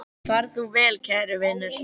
Far þú vel, kæri vinur.